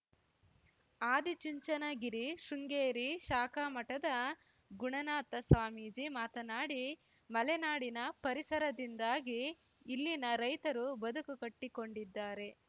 ಆದಿಚುಂಚನಗಿರಿ ಶೃಂಗೇರಿ ಶಾಖಾ ಮಠದ ಗುಣನಾಥ ಸ್ವಾಮೀಜಿ ಮಾತನಾಡಿ ಮಲೆನಾಡಿನ ಪರಿಸರದಿಂದಾಗಿ ಇಲ್ಲಿನ ರೈತರು ಬದುಕು ಕಟ್ಟಿಕೊಂಡಿದ್ದಾರೆ